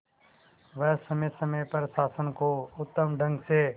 वह समय समय पर शासन को उत्तम ढंग से